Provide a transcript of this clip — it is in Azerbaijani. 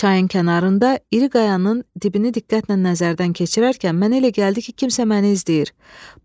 Çayın kənarında iri qayanın dibini diqqətlə nəzərdən keçirərkən mənə elə gəldi ki, kimsə məni izləyir.